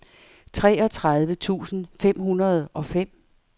treogtredive tusind fem hundrede og fem